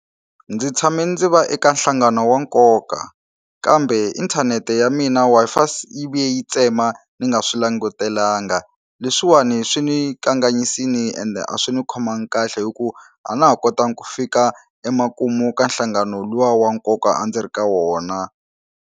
Ndzi tshame ndzi va eka nhlangano wa nkoka kambe inthanete ya mina Wi-Fi yi vuye yi tsema ni nga swi langutelanga leswiwani swi ni kanganyisini ende a swi ni khomangi kahle hi ku a na ha kotanga ku fika emakumu ka nhlangano luwa wa nkoka a ndzi ri ka wona.